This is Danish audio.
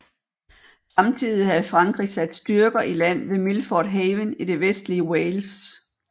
Samtidig havde Frankrig sat styrker i land ved Milford Haven i det vestlige Wales